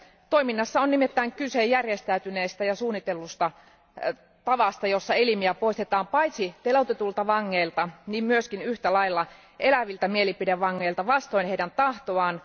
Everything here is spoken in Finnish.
Toiminnassa on nimittäin kyse järjestäytyneestä ja suunnitellusta tavasta, jolla elimiä poistetaan paitsi teloitetuilta vangeilta niin myös yhtä lailla eläviltä mielipidevangeilta vastoin heidän tahtoaan.